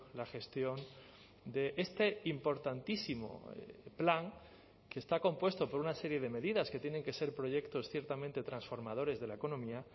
la gestión de este importantísimo plan que está compuesto por una serie de medidas que tienen que ser proyectos ciertamente transformadores de la economía